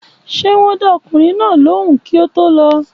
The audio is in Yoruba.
Ṣé wón dá ọkùnrin náà lóhùn kí o to lọ